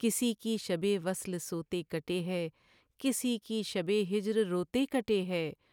کسی کی شب وصل سوتے کٹے ہے کسی کی شب ہجر روتے کٹے ہے